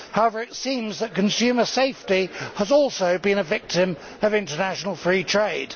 However, it seems that consumer safety has also been a victim of international free trade.